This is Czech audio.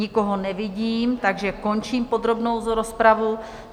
Nikoho nevidím, takže končím podrobnou rozpravu.